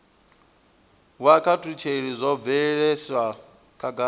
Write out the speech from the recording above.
wa kutshilele zwo bviselwa khagala